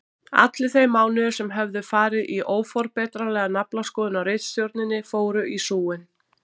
Allir þeir mánuðir sem höfðu farið í óforbetranlega naflaskoðun á ritstjórninni fóru í súginn.